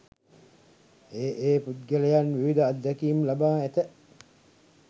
ඒ, ඒ පුද්ගලයන් විවිධ අත්දැකීම් ලබා ඇත.